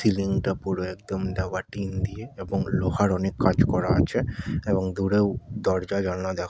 থিলিং -টা পুরো একদম দেওয়া টিন দিয়ে এবং লোহার অনেক কাজ করা আছে। এবং দূরেও দরজা জানালা দেখা--